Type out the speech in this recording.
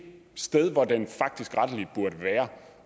sted hvor den faktisk rettelig burde være